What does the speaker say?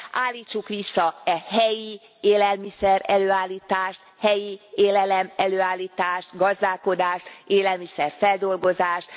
Állítsuk vissza e helyi élelmiszer előállítást, helyi élelemelőállítást, gazdálkodást, élelmiszer feldolgozást.